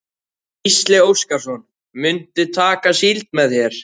Gísli Óskarsson: Muntu taka síld með þér?